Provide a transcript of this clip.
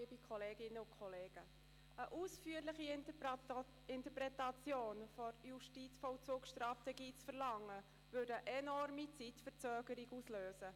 Eine ausführliche Interpretation der Justizvollzugsstrategie einzufordern, würde zu einer enormen Zeitverzögerung führen.